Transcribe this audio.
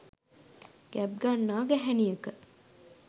ගැබ් ගන්නා ගැහැනියක